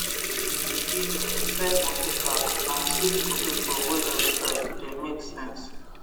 in the evening inside moto park na sweet potato wey dem fry the make sense